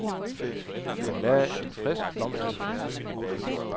Han lagde en frisk blomsterkrans om halsen.